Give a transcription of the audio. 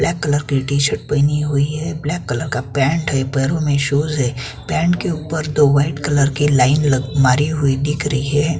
Black colour की T shirt पहनी हुई है ब्लैक कलर का पैंट है पैरों में शूज है पैंट के ऊपर दो वाइट कलर की लाइन लग मारी हुई दिख रही है।